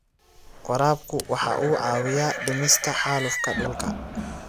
Waraabku waxa uu caawiyaa dhimista xaalufka dhulka.